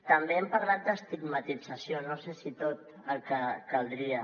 també hem parlat d’estigmatització no sé si tot el que caldria